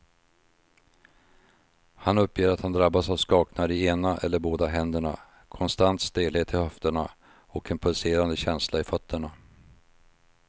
Han uppger att han drabbas av skakningar i ena eller båda händerna, konstant stelhet i höfterna och en pulserande känsla i fötterna.